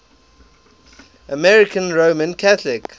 american roman catholic